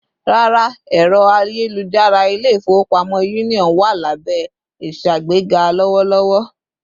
Rárá, ẹrọ ayelujara ilé-ifowopamọ Union wá lábé ìṣàgbega lowolowo